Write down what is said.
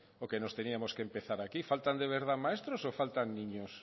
o que nos teníamos que empezar aquí faltan de verdad maestros o faltan niños